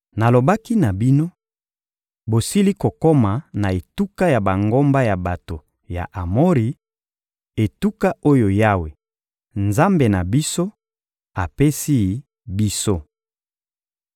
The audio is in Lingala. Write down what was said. Nalobaki na bino: — Bosili kokoma na etuka ya bangomba ya bato ya Amori, etuka oyo Yawe, Nzambe na biso, apesi biso.